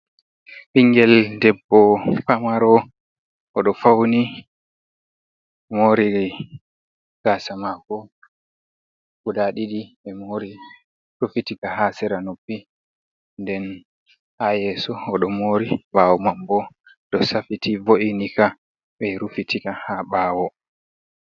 Ɓingel debbo famaro, oɗo fauni mori gasa mako guda ɗiɗi ɓemori ɓe rufitika ha sera noppi, nden ha yeso oɗo mori ɓawo manbo ɗo safiti vo’inika ɓe rufitika ha ɓawo.